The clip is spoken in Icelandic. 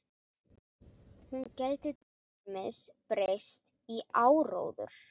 Hún gæti til dæmis breyst í áróður.